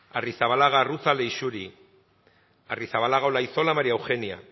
arrizabalaga arruza leixuri arrizabalaga olaizola maría eugenia